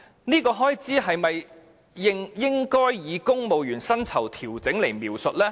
這項開支是否應該以調整公務員薪酬來描述呢？